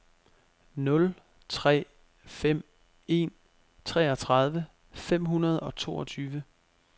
nul tre fem en treogtredive fem hundrede og toogtyve